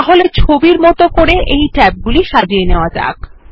তাহলে ছবির মতো করে ট্যাব গুলি সাজিয়ে নেওয়া যাক